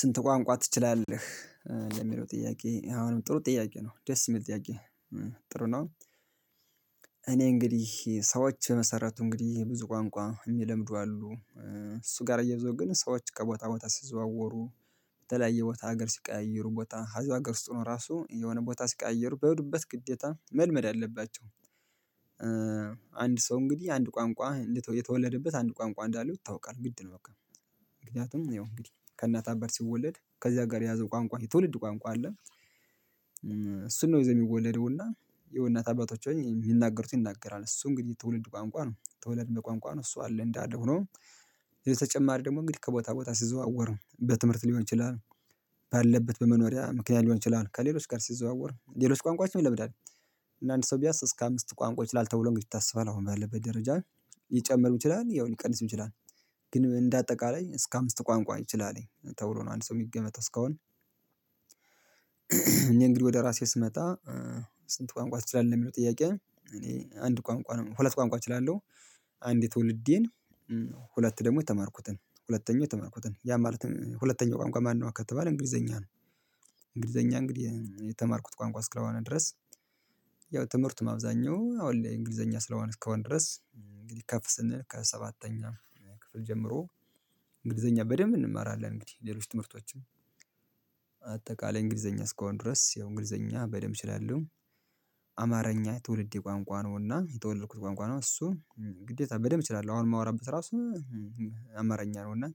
ስንት ቋንቋ ትችላለህ የሚለው ጥያቄ አሁንም ጥሩ ጥያቄ ነው ደስ ይመልስ ጥያቄ? ጥሩ ነው። እኔ እንግዲህ ሰዎች መሰረቱ እንግዲህ ብዙ ቋንቋ የሚለምዱ አሉ። እሱ ጋር እያይዠው ግን ሰዎች ከቦታ ቦታ ሲዘዋወሩ የተለያየ ቦታ ሀገር ሲቀያይሩ ቦታ ሀገር ውስጥ ራሱ የሆነ ቦታ ሲቀያይሩ በሄዱበት ግዴታ መልመድ አለባቸው። አንድ ሰው እንግዲህ አንድ ቋንቋ የተወለደበት አንድ ቋንቋ እንዳለው ይታወቃል ግድ ነው በቃ። ከእናት አባት ሲወለድ ከዚያ ጋር የያዘው ቋንቋ የትውልድ ቋንቋ አለ። እሱን ነው የሚወለደው እና የው እናት አባቶቹ የሚናገሩት ይናገራል እሱ እንግዲህ ትውልድ ቋንቋ ነው ትውልድ ቋንቋ ነው እሱ አለ እንዳለ ሆኖ። ተጨማሪ ደግሞ እንግዲህ ከቦታ ቦታ ሲዘዋወሩ በትምህርት ሊሆን ይችላል። ባለበት በመኖሪያ ምክንያት ሊሆን ይችላል ከሌሎች ጋር ሲዘዋወር ሌሎች ቋንቋዎች ነው ይለምዳል። እና አንድ ሰው ቢያስ እስከ አምስት ቋንቋዎች ይችላል ተብሎ የሚታሰበን አሁን ባለበት ደረጃ ይጨመርም ይችላል ያው ሊቀንስም ይችላል። ግን እንደ አጠቃላይ እስከ አምስት ቋንቋ ይችልም ተብሎ ነው አንድ ሰው የሚገመት እስካሁን። እኔ እንግዲህ ወደ ራሴ ስመጣ። ስንት ቋንቋ ትችላለህ የሚለው ጥያቄ? እኔ አንድ ቋንቋ ሁለት ቋንቋ እችላለሁ። አንድ ትውልዴን ሁለት ደግሞ የተማርኩትን ሁለተኛው የተማርኩትን ያ ማለት ሁለተኛው ቋንቋ ማነው ከተባለ እንግሊዘኛ ነው። እንግሊዘኛ እንግዲህ የተማርኩት ቋንቋ እስከሆነ ድረስ። ያው ትምህርቱም አብዛኛው አሁን እንግሊዘኛ ስለሆነ እስከሆነ ድረስ። ከፍ ስንል ከሰባተኛ ክፍል ጀምሮ እንግሊዘኛ በደንብ እንማራለን እንግዲህ ሌሎች ትምህርቶቻችን። አጠቃላይ እንግሊዘኛ እስከሆን ድረስ የእንግሊዘኛ በደንብ እችላለሁ። አማርኛ ትውልዴ ቋንቋ ነው እና የተወለድኩት ቋንቋ ነው እሱ። ግዴታ በደንብ እችላለሁ አሁን የማወራበት ራሱ አማርኛ ነው እና